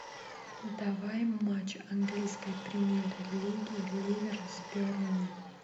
давай матч английской премьер лиги ливера с бернли